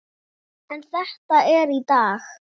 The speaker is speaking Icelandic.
En þetta er í dag.